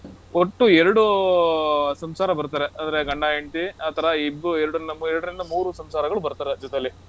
ಒಟ್ಟು ಎರಡು ಆಹ್ ಸಂಸಾರ ಬರ್ತಾರೆ. ಅಂದ್ರೆ ಗಂಡ-ಹೆಂಡ್ತಿ ಆ ತರ ಇಬ್~ ಎರಡ್ರಿಂದ ಎರಡ್ರಿಂದ ಮೂರು ಸಂಸಾರಗಳು ಬರ್ತಾರೆ ಜೊತೆಲ್ಲಿ.